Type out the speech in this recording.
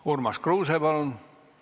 Urmas Kruuse, palun!